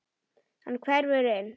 Hann hverfur inn.